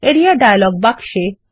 Areaডায়লগ বাক্স এ